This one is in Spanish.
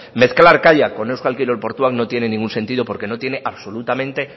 mezclar kaiak con euskal kirol portuak no tiene ningún sentido porque no tiene absolutamente